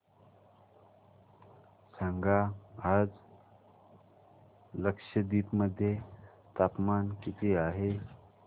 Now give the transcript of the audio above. सांगा आज लक्षद्वीप मध्ये तापमान किती आहे